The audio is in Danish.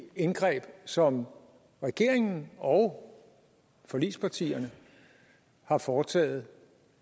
indgreb som regeringen og forligspartierne har foretaget